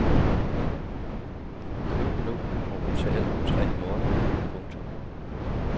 Køb nu og betal om tre måneder. punktum